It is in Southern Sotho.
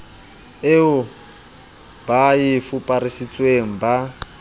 eo ba e fuparisitsweng ba